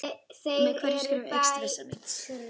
Með hverju skrefi eykst vissa mín.